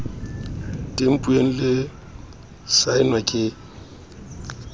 tempuweng le ho saenwa ke